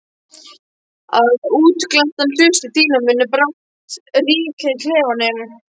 Að útglenntar hlustir þínar munu brátt ríkja í klefanum.